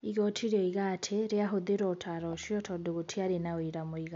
Igooti rĩoiga atĩ rĩahũthĩra ũtaaro ũcio tondũ gũtiarĩ na ũira mũiganu.